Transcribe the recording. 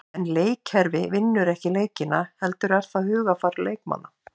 En leikkerfi vinnur ekki leikina heldur er það hugarfar leikmanna.